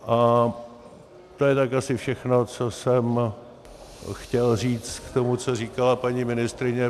A to je tak asi všechno, co jsem chtěl říct k tomu, co říkala paní ministryně.